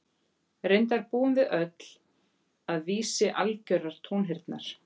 Reyndar búum við öll að vísi algjörrar tónheyrnar.